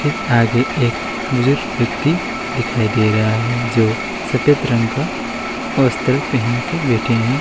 आगे एक बुजुर्ग व्यक्ति दिखाई दे रहा है जो सफेद रंग का वस्त्र पहन के बैठे है।